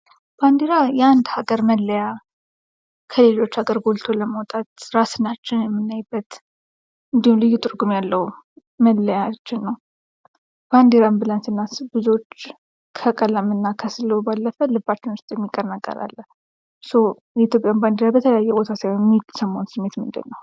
ባንዲራ የአንድ ሀገር መለያ ፣ ከሌሎች ሀገሮች ጎልቶ ለመውጣት ፣ እራሳችንን የምናይበት እንዲሁም ልዩ ትርጉም ያለው መለያችን ነው ። ባንዲራን ብለን ስናስብ ብዙዎች ከቀለምና ከስሉ ባለፈ ልባችን ላይ የሚቀር ነገር አለ ። እርሶ የኢትዮጵያን ባንዲራ በተለያዩ ቦታ ሲያዩ የሚሰማዎት ስሜት ምንድነው ?